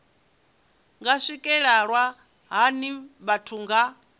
nga swikelelwa hani vhathu nga